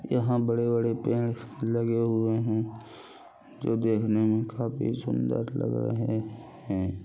यहाँ बड़े-बड़े पेड़ लगे हुए है जो देखने में काफी सुंदर लग रहे है।